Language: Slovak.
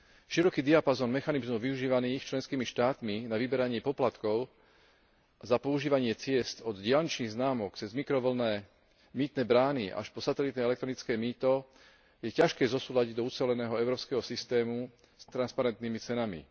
Široký diapazón mechanizmov využívaných členskými štátmi na vyberanie poplatkov za používanie ciest od diaľničných známok cez mikrovlnné mýtne brány až po satelitné elektronické mýto je ťažké zosúladiť do uceleného európskeho systému s transparentnými cenami.